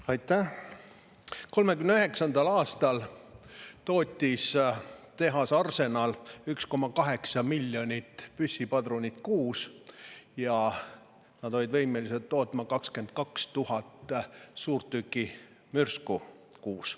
1939. aastal tootis tehas Arsenal 1,8 miljonit püssipadrunit kuus ja nad olid võimelised tootma 22 000 suurtükimürsku kuus.